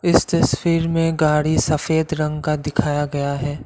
इस तस्वीर में गाड़ी सफेद रंग का दिखाया गया है।